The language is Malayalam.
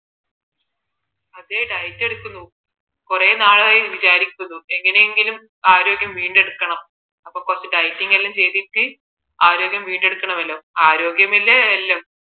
അതേ diet എടുക്കുന്നു കുറെ നാളായി വിചാരിക്കുന്നു എങ്ങനെയെങ്കിലും ആരോഗ്യം വീണ്ടെടുക്കണം അപ്പോ കുറച്ച് dieting ഒക്കെ ചെയ്തിട്ട് ആരോഗ്യം വീണ്ടെടുക്കണമല്ലോ ആരോഗ്യമല്ലേ എല്ലാം